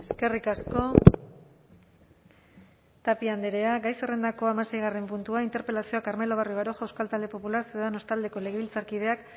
eskerrik asko tapia andrea gai zerrendako hamaseigarren puntua interpelazioa carmelo barrio baroja euskal talde popular ciudadanos taldeko legebiltzarkideak